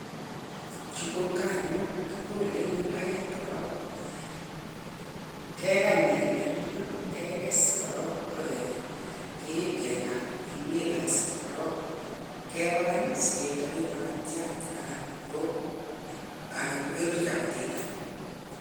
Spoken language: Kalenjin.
Chu ko nganuk kolei en imbaret korok akebakan sikechob makatiat anan chapatinik yekakeng'a